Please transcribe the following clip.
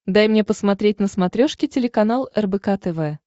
дай мне посмотреть на смотрешке телеканал рбк тв